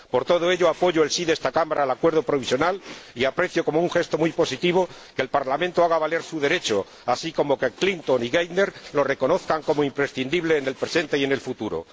Por todo ello, apoyo el sí de esta Cámara al Acuerdo provisional y aprecio como un gesto muy positivo que el Parlamento haga valer su derecho, así como que Clinton y Geithner lo reconozcan como imprescindible en el presente y en el futuro.